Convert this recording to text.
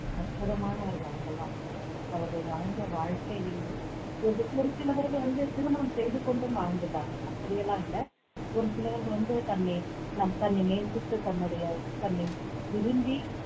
அற்புதமானவர்கள் அவர்கள் எல்லாம் அவர்கள் வாழ்ந்த வாழ்க்கை ஒரு சி~ ஒரு சிலவர்கள் வந்து திருமணம் செய்து கொண்டும் வாழ்ந்துள்ளார்கள் அப்படியெல்லாம் இல்லை ஒரு சிலவர்கள் வந்து தன்னை நம் தன்னை நேசித்து தன்னுடைய தன்னை விரும்பி